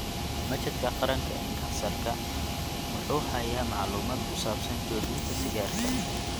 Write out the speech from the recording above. Machadka Qaranka ee Kansarka (NCI) wuxuu hayaa macluumaad ku saabsan joojinta sigaarka.